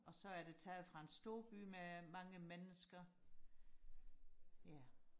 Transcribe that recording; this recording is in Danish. og så er det taget fra en storby med mange mennesker ja